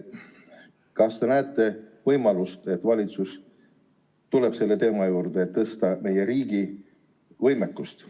Kas te näete võimalust, et valitsus tuleb taas selle teema juurde, et suurendada meie riigi võimekust?